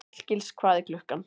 Hallgils, hvað er klukkan?